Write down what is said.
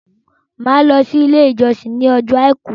Màá lọ sí ilé ìjósìn ní ọjọ́ àìkú